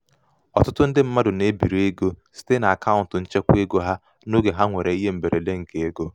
ọtụtụ ndị mmadụ na-ebiri ego site n'akaụntụ nchekwaego ha n'oge ha nwere ihe mberede nke ego. mberede nke ego.